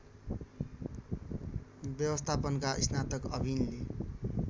व्यवस्थापनका स्नातक अविनले